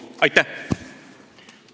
Aitäh!